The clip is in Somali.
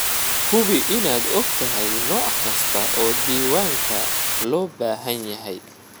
Hubi inaad ogtahay nooc kasta oo diiwaanka loo baahan yahay.